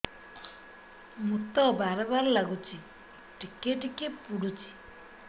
ମୁତ ବାର୍ ବାର୍ ଲାଗୁଚି ଟିକେ ଟିକେ ପୁଡୁଚି